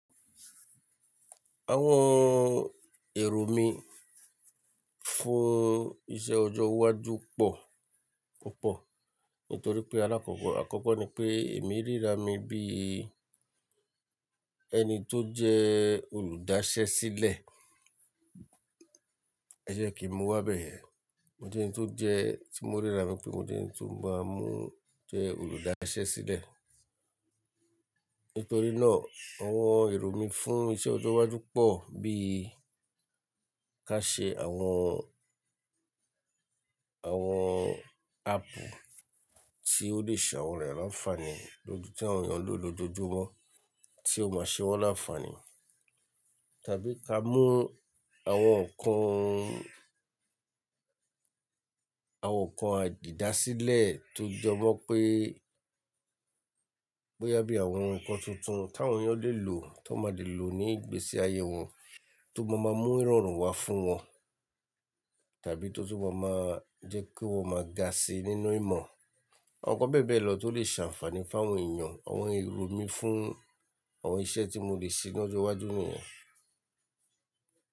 Àwọn èrò mí fún iṣẹ́ ọjọ́ iwájú pọ̀ púpọ̀ nítorí pé alakoko àkọ́kọ́ ni pé èmi ríra mi bí ẹni tó jẹ́ olùdásẹ́ sílẹ̀. Ẹ jẹ́ kí n mu wá bẹ́ẹ̀yen. Mo jẹ́ ẹni tó jẹ́ tí mo ríra mi pé mo jẹ́ ẹni tó máa mú jẹ́ olùdásẹ́ sílẹ̀. Nítorí náà àwọn èrò mí fún iṣẹ́ ọjọ́ iwájú pọ̀ bí ka ṣe àwọn, àwọn áàpù tí ó lè ṣe àwọn èrò láǹfààní lọ́dún tí àwọn èèyàn lè lò lójoojúmọ́ tí ó máa ṣe wọ́n láǹfààní. Tàbí ká mú àwọn ǹkan, àwọn ǹkan àjìdásílẹ̀ tó jẹ́ mọ́ pé, pé yá bí àwọn ǹkan tuntun tí àwọn èèyàn lè lò tó máa lè lò ní ìgbésí ayé wọn tó bá máa mú ìrọ̀rùn wá fún wọn tàbí tó tó bá máa jẹ́ kí wọ́n máa ga sí nínú ìmọ̀. Àwọn ǹkan bẹ́ẹ̀ bẹ́ẹ̀ lọ tó lè ṣe àǹfààní fún àwọn èèyàn. Àwọn èrò mí fún àwọn iṣẹ́ tí mo lè ṣe ní ọjọ́ iwájú nìyẹn.